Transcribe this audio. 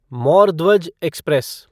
Mor Dhwaj express